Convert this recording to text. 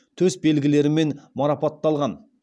төс белгілерімен марапатталған